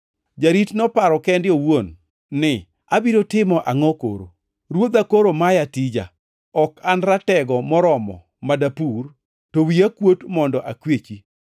“Jarit noparo kende owuon ni, ‘Abiro timo angʼo koro? Ruodha koro maya tija. Ok an ratego moromo ma dapur, to wiya kuot mondo akwechi.